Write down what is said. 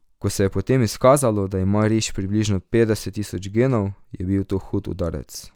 Ko se je potem izkazalo, da ima riž približno petdeset tisoč genov, je bil to hud udarec.